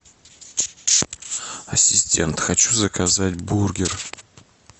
ассистент хочу заказать бургер